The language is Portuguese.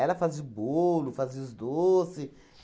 fazia o bolo, fazia os doce.